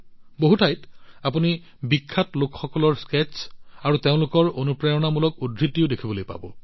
বহু ঠাইত আপুনি বিখ্যাত লোকসকলৰ স্কেটচ্ আৰু তেওঁলোকৰ অনুপ্ৰেৰণামূলক উদ্ধৃতিও চাব পাৰে